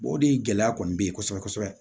o de gɛlɛya kɔni bɛ yen kosɛbɛ kosɛbɛ